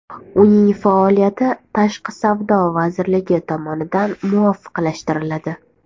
Uning faoliyati Tashqi savdo vazirligi tomonidan muvofiqlashtiriladi.